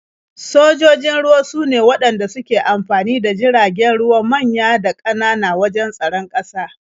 Sojojin ruwa sune waɗanda suke amfani da jiragen ruwa manya da ƙanana wajen tsaron ƙasa.